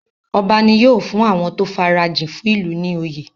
Ọba ní́ yóò fún àwọn tó farajìn fún ìlú ní oyè.